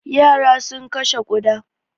Yara sun kashe ƙuda.